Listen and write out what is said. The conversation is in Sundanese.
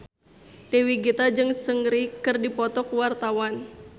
Dewi Gita jeung Seungri keur dipoto ku wartawan